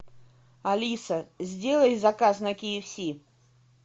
алиса сделай заказ на ки эф си